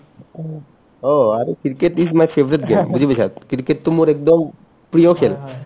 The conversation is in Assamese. অ, অ আৰু cricket is my favorite game বুজি পাইছা cricketটো মোৰ একদম প্ৰিয় খেল